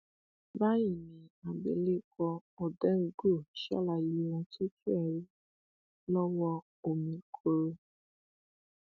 ó béèrè orúkọ mi ọjọ orí mi ibi um tí mò ń gbé ẹni tí mò ń um bá gbé àtàwọn ìbéèrè míì